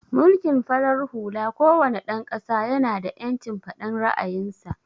Mulkin farar hula ko wane dan ƙasa ya na da ƴancin faɗan ra'ayin sa